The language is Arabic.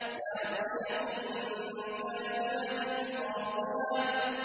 نَاصِيَةٍ كَاذِبَةٍ خَاطِئَةٍ